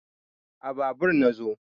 a Babur na zo